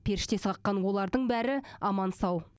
періштесі қаққан олардың бәрі аман сау